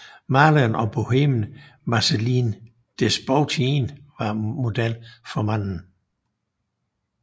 Maleren og bohemen Marcellin Desboutin var model for manden